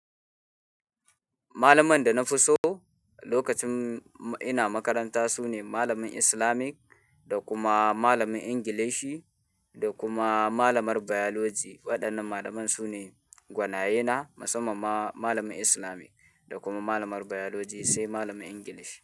Malaman da na fi so lokacin ina makaranta su ne malamin Islamic da kuma malamin Ingilishi da kuma malamar Biology. Waɗannan malaman su ne gwanaye na, musamman ma malamin Islamic da kuma malamar Biology sai malamin Ingilishi.